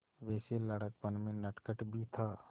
वैसे लड़कपन में नटखट भी था